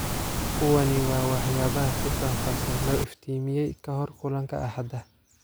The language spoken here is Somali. Kuwani waa waxyaabaha si faahfaahsan loo iftiimiyay ka hor kulanka axada.